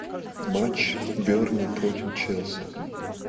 матч бернли против челси